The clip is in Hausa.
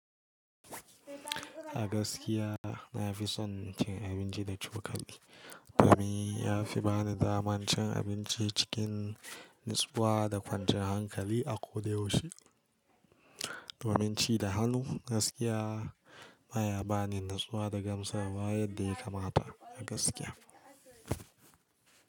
A gaskiya na fi son cin abinci da cokali. Domin ya fi bani damar cin abinci cikin natsuwa da kwanciyan hankali a ko da yaushe. Domin ci da hannu gaskiya ma ya bani natsuwa da gamsarwa yadda ya kamata a gaskiya.